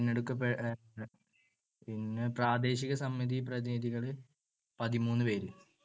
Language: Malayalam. തിരഞ്ഞെടുക്കപ്പെട്ട~ പ്രാദേശിക സമിതി പ്രതിനിധികൾ പതിമൂന്നുപേര്.